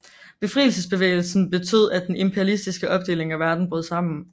Befrielsesbevægelserne betød at den imperialistiske opdeling af verden brød sammen